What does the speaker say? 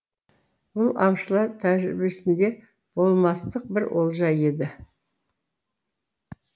бұл аңшылар тәжірибесінде болмастық бір олжа еді